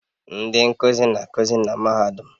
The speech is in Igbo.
Ndị nkuzi na-akụzi na mahadum